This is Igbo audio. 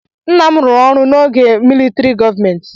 Nna m rụrụ ọrụ n'oge militrị gọọmenti.